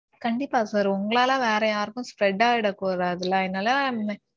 கண்டிப்பா sir. உங்களால வேற யாருக்கும் spread அயிட கூடாதுல அதனால